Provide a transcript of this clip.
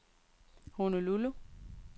Honolulu